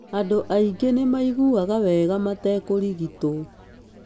Andũ aingĩ nĩ maiguaga wega matekũrigitwo.